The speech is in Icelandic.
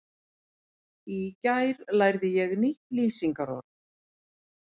Í gær lærði ég nýtt lýsingarorð.